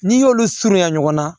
N'i y'olu surunya ɲɔgɔn na